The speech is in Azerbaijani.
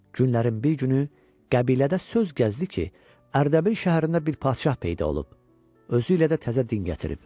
Günlərin bir günü qəbilədə söz gəzdi ki, Ərdəbil şəhərində bir padşah peyda olub, özü ilə də təzə din gətirib.